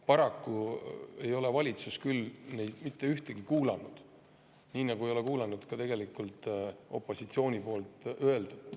Paraku ei ole valitsus neist küll mitte ühtegi kuulanud, nii nagu ei ole kuulanud ka opositsiooni öeldut.